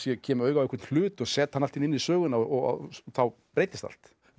kem auga á einhver hlut og set hann allt í einu inn í söguna og þá breytist allt finnst